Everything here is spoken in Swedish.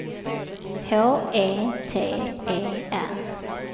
H E T E R